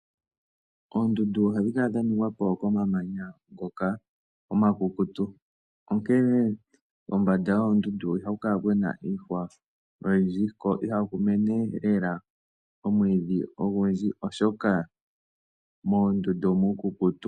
Oondundu ohadhi kala dhaningwapo komamanya ngoka omakukutu, onkene kombanda yoondundu ihaku kuna iihwa oyindji, ko ihaku mene lela omwiidhi ogundji, oshoka moondundu omuukukutu.